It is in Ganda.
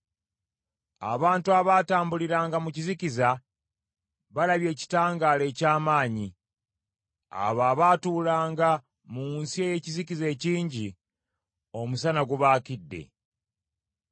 Abantu abaatambuliranga mu kizikiza balabye ekitangaala eky’amaanyi, abo abaatuulanga mu nsi ey’ekizikiza ekingi, omusana gubaakidde.